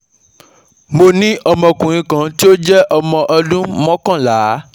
Mo ní ọmọkùnrin kan tí ó jẹ́ ọmọ ọdún mokanla